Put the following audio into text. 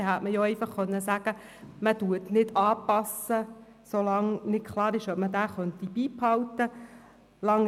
Dann hätte man einfach sagen können, man passe ihn nicht an, solange nicht klar sei, ob man diesen beibehalten könne.